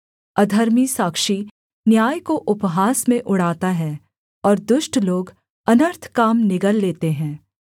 अधर्मी साक्षी न्याय को उपहास में उड़ाता है और दुष्ट लोग अनर्थ काम निगल लेते हैं